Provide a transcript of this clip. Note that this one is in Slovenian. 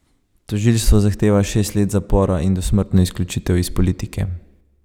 Tožilstvo zahteva šest let zapora in dosmrtno izključitev iz politike.